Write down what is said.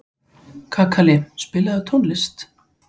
Kakali, spilaðu tónlist.